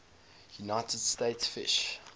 united states fish